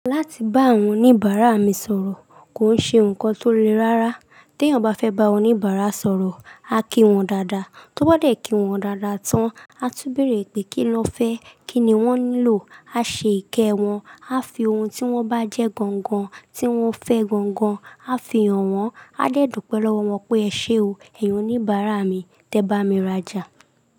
Láti bá àwọn oníbàárà mi sọ̀rọ̀ kò ń ṣe nǹkan tó le rárá. Tí èèyàn bá fẹ́ bá oníbàárà sọ̀rọ̀, a kí wọn dáadáa. Tó bá dé kí wọn dáadáa tán, a tún bèèrè pé kí lọ fẹ́, kí ni wọ́n nílò. A ṣe ìkẹ́ wọn, a fi ohun tí wọ́n bá jẹ́ gangan, tí wọ́n fẹ́ gangan, a fi hàn wọ́n. A dẹ́ dupe lowo wọn pé "ẹ ṣé o, èyin oníbàárà mi, tẹ bá mi rajà.